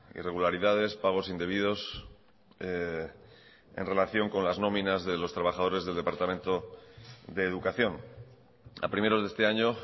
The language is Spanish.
irregularidades pagos indebidos en relación con las nominas de los trabajadores del departamento de educación a primeros de este año